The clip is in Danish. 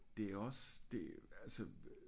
Det er også det altså